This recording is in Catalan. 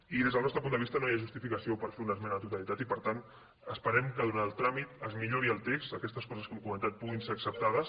i des del nostre punt de vista no hi ha justificació per fer una esmena a la totalitat i per tant esperem que durant el tràmit es millori el text que aquestes coses que hem comentat puguin ser acceptades